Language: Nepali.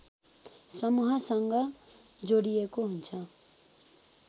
समूहसँग जोडिएको हुन्छ